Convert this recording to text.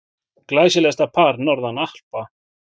Glæsilegasta par norðan Alpa.